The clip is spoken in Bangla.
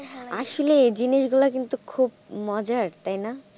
আসলে জিনিসগুলো খুব মজা তাই না?